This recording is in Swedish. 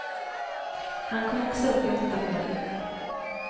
Han kom också upp i åtta mål.